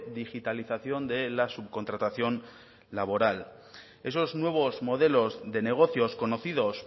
digitalización de la subcontratación laboral esos nuevos modelos de negocios conocidos